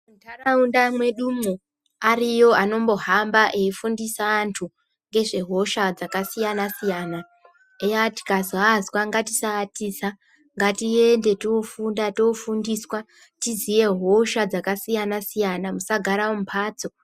Munharaunda mwedumwo ariyo anombohamba aifundisa antu ngezve hosha dzakasiyana-siyana eya tikazoazwa ngatisaatiza ngatiende tofunda, tofundiswa tiziye hosha dzakasiyana-siyana musagare mumhatso.